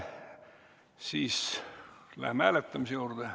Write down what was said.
Siis läheme hääletamise juurde.